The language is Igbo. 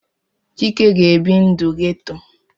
Chike ga-ebi ndụ ghetto.